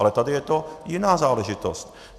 Ale tady je to jiná záležitost.